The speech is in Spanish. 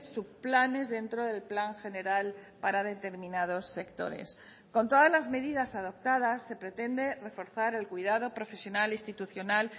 subplanes dentro del plan general para determinados sectores con todas las medidas adoptadas se pretende reforzar el cuidado profesional institucional